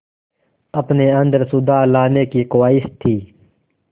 अपने अंदर सुधार लाने की ख़्वाहिश थी